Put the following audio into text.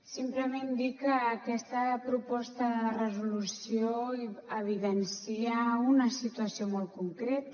simplement dir que aquesta proposta de resolució evidencia una situació molt concreta